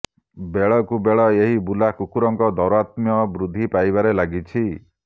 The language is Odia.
ବେଳକୁ ବେଳ ଏହି ବୁଲା କୁକୁରଙ୍କ ଦ୘ାରାତ୍ମ୍ୟ ବୃଦ୍ଧି ପାଇବାରେ ଲାଗିଛି